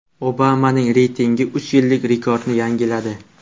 Obamaning reytingi uch yillik rekordni yangiladi.